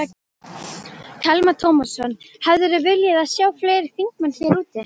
Telma Tómasson: Hefðirðu viljað sjá fleiri þingmenn hér úti?